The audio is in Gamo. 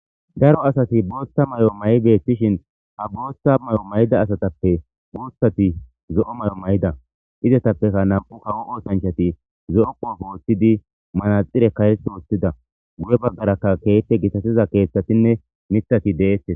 Daro asati bootha mayo mayi beetishin ha bootha mayo mayida asatappe guuthati zo'o mayo mayida izetapekka nam'u kawo oosanchati zo'o qoobe wothidi manaxxireka heepe wothida guye baggaraka keehippe gitatiza keethatinne miththati deetes.